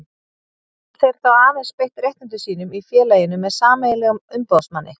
Geta þeir þá aðeins beitt réttindum sínum í félaginu með sameiginlegum umboðsmanni.